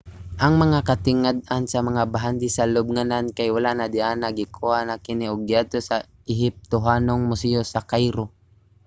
ang mga katingad-an nga bahandi sa lubnganan kay wala na diana gikuha na kini ug giadto sa ehiptohanong museyo sa cairo